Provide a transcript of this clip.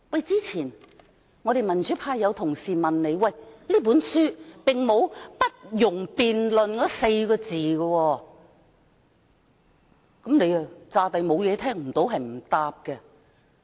之前有民主派同事問他，這本書並沒有訂明"不容辯論"這4個字，他又假裝沒有這一回事，聽不到、不回答。